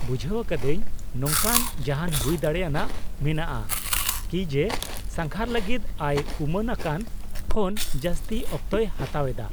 -ᱵᱩᱡᱷᱟᱹᱣ ᱟᱠᱟᱫᱟᱹᱧ, ᱱᱚᱝᱠᱟᱱ ᱡᱟᱦᱟᱱ ᱦᱩᱭ ᱫᱟᱲᱮᱭᱟᱱᱟᱜ ᱢᱮᱱᱟᱜᱼᱟ ᱠᱤ ᱡᱮ ᱥᱟᱸᱜᱷᱟᱨ ᱞᱟᱹᱜᱤᱫ ᱟᱭᱼᱩᱢᱟᱹᱱᱟᱠᱟᱱ ᱠᱷᱚᱱ ᱡᱟᱹᱥᱛᱤ ᱚᱠᱛᱚᱭ ᱦᱟᱛᱟᱣ ᱮᱫᱟ ?